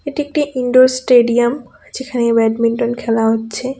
এটি একটি indoor stadium যেখানে ব্যাডমিন্টন খেলা হচ্ছে.